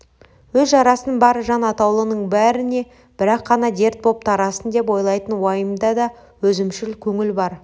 өз жарасын бар жан атаулының бәріне бір-ақ қана дерт боп тарасын деп ойлайтын уайымда да өзімшіл көңіл бар